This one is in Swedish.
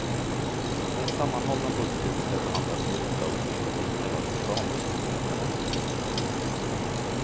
Den sammanhållna budgeten skall behandlas i riksdagen enligt vad som kallas rambeslutsmodellen.